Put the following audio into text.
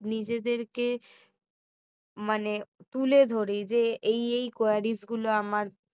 নিজেদের কে মানে তুলে ধরি যে এই এই queries গুলো আমার